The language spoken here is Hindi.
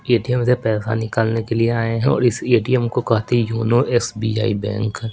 ए_टी_एम से पैसा निकालने के लिए आए हैं और इस ए_टी_एम को कहते हैं योनो एस_बी_आई बैंक --